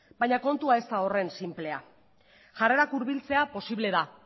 baina kontua ez da horren sinplea jarrerak hurbiltzea posible da